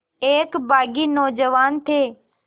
एक बाग़ी नौजवान थे